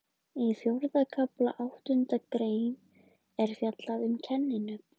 Í fjórða kafla, áttundu grein, er fjallað um kenninöfn.